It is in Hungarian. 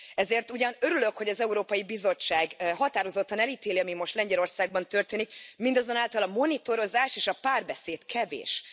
Ezért ugyan örülök, hogy az Európai Bizottság határozottan elítéli, ami most Lengyelországban történik, mindazonáltal a monitorozás és a párbeszéd kevés.